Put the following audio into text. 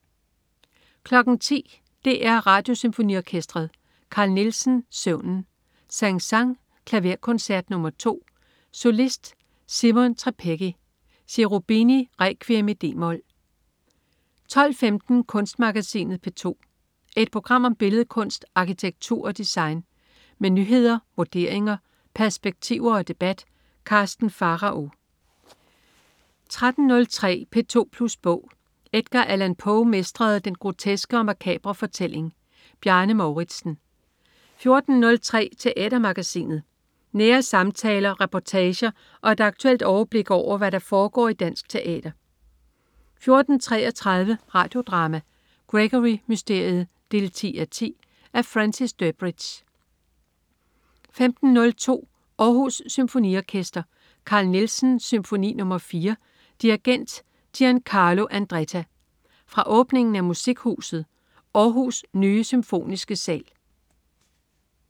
10.00 DR Radiosymfoniorkestret. Carl Nielsen: Søvnen. Saint-Saëns: Klaverkoncert nr. 2. Solist: Simon Trpecki. Cherubini: Requiem, d-mol 12.15 Kunstmagasinet P2. Et program om billedkunst, arkitektur og design. Med nyheder, vurderinger, perspektiver og debat. Karsten Pharao 13.03 P2plus bog. Edgar Allan Poe mestrede den groteske og makabre fortælling. Bjarne Mouridsen 14.03 Teatermagasinet. Nære samtaler, reportager og et aktuelt overblik over, hvad der foregår i dansk teater 14.33 Radio Drama: Gregory Mysteriet 10:10. Af Francis Durbridge 15.02 Aarhus Symfoniorkester. Carl Nielsen: Symfoni nr. 4. Dirigent: Giancarlo Andretta. Fra åbningen af Musikhuset Aarhus' nye Symfoniske sal